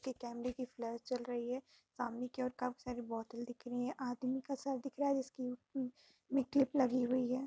ये कैमरे की फ्लैश जल रही है। सामने की ओर काफी सारी बॉटल दिख रहीं हैं आदमी का सर दिख रहा है जिसकी उम्म- में क्लिप लगी हुई है।